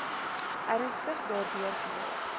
ernstig daardeur geraak